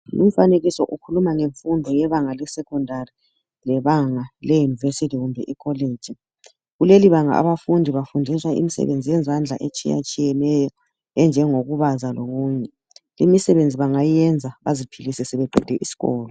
Umfanekiso ukhuluma ngemfundo yebanga le"secondary " lebanga le" University " kumbe ikolitshi kulelibanga abafundi bafundiswa imisebenzi yezandla etshiya tshiyeneyo enjengokubaza lokunye imisebenzi bangayenza baziphilise sebeqede isikolo.